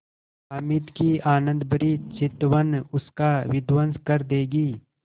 हामिद की आनंदभरी चितवन उसका विध्वंस कर देगी